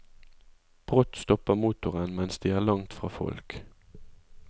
Brått stopper motoren mens de er langt fra folk.